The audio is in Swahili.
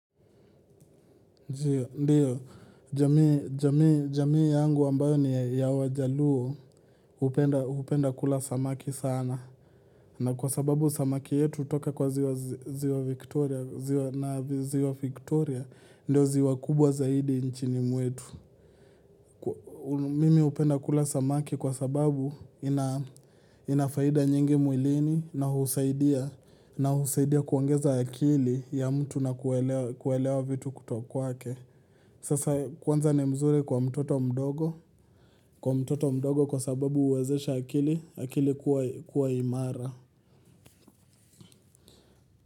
Ndio, jamii yangu ambayo ni ya wajaluo, hupenda kula samaki sana. Na kwa sababu samaki yetu hutoka kwa ziwa Victoria, ziwa na ziwa Victoria, ndio ziwa kubwa zaidi nchini mwetu. Mimi hupenda kula samaki kwa sababu ina faida nyingi mwilini na husaidia, na husaidia kuongeza akili ya mtu na kuelewa vitu kutoka kwake. Kwanza ni mzuri kwa mtoto mdogo, kwa mtoto mdogo kwa sababu huwezesha akili akili kuwa imara.